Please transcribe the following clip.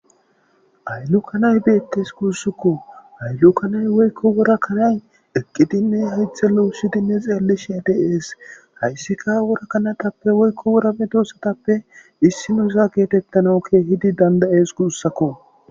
Aylu kanay beettes kuussukko ayllu kanay woykko wora kanay eqqidinne haythe lowusshidinne xeelli shedes hayssika worakanatappe woykko worame dosatappe issi nuusa geetettanawukeehidi dandayees guussakko.